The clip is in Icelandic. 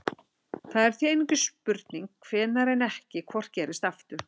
Það er því einungis spurning hvenær en ekki hvort gerist aftur.